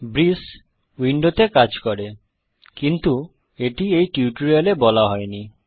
ব্রিস উইন্ডোতে কাজ করে কিন্তু এটি এই টিউটোরিয়াল এ বলা হয়নি